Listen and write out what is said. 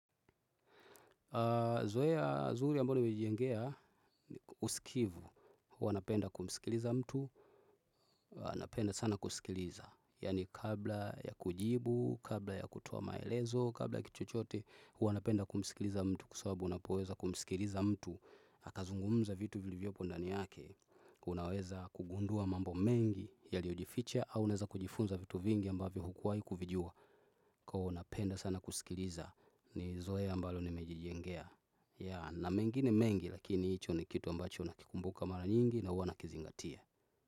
Zoeya zuri ambalo ni mejijengea usikivu, huwa napenda kumsikiliza mtu, napenda sana kusikiliza. Yani kabla ya kujibu, kabla ya kutoa maelezo, kabla ya kitu chochote, huwa napenda kumsikiliza mtu kwa sawabu, unapoweza kumsikiliza mtu. Akazungumuza vitu viliyopo ndani yake, unaweza kugundua mambo mengi yaliojificha au unaeza kujifunza vitu vingi ambavyo hukuwai kuvijua. Kwa napenda sana kusikiliza ni zoea ambalo nimejijengea. Ya na mengine mengi lakini hicho ni kitu ambacho nakikumbuka mara nyingi na huwa nakizingatia.